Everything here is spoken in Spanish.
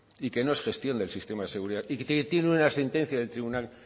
y que no es gestión del sistema de seguridad y tiene una sentencia del tribunal